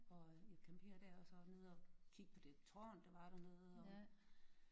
Og øh ja campere der og så nede og kigge på det tårn der var dernede og